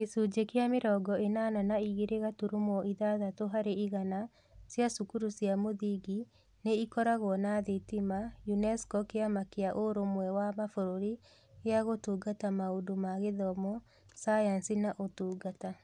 Gĩcunjĩ kĩa mĩrongo ĩnana na igĩrĩ gaturumo ithathatũ harĩ igana cia cukuru cia mũthingi nĩ ikoragwo na thitima UNESCO Kĩama kĩa Ũrũmwe wa Mabũrũri gĩa Gũtungata Maũndũ ma Gĩthomo, Sayansi, na Ũtungata